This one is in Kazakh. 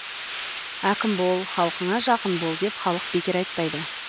әкім бол халқыңа жақын бол деп халық бекер айтпайды